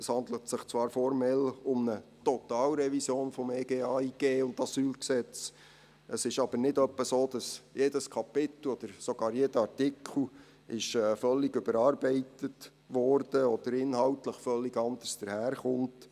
Es handelt sich zwar formell um eine Totalrevision des EG AIG und AsylG. Es ist aber nicht etwa so, dass jedes Kapitel, oder sogar jeder Artikel völlig überarbeitet wurde oder inhaltlich völlig anderes daherkommt.